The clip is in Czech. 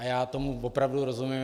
A já tomu opravdu rozumím.